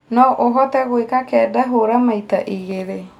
no ũhote gũika Kenda hũra maĩta igĩri